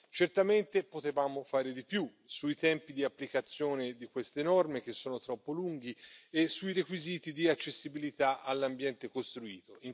Certamente potevamo fare di più sui tempi di applicazione di queste norme, che sono troppo lunghi, e sui requisiti di accessibilità all'ambiente costruito.